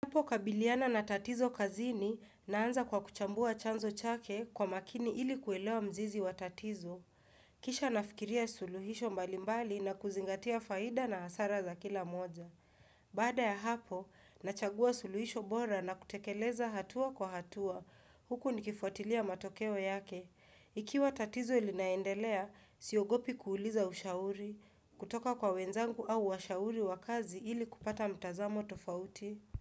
Hapo kabiliana na tatizo kazini naanza kwa kuchambua chanzo chake kwa makini ili kuelewa mzizi wa tatizo. Kisha nafikiria suluhisho mbalimbali na kuzingatia faida na hasara za kila moja. Baada ya hapo, nachagua suluhisho bora na kutekeleza hatua kwa hatua. Huku nikifuatilia matokeo yake. Ikiwa tatizo ilinaendelea, siogopi kuuliza ushauri. Kutoka kwa wenzangu au ushauri wakazi ili kupata mtazamo tofauti.